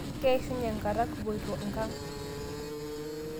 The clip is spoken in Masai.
Keishunye nkata kupoito nkang'